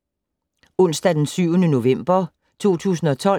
Onsdag d. 7. november 2012